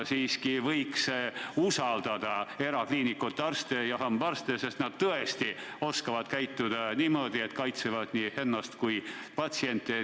Tuleks usaldada erakliinikute arste ja hambaarste, sest nad tõesti oskavad käituda sedasi, et kaitsevad ennast ja ka patsiente.